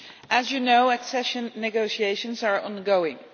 As you know, accession negotiations are ongoing.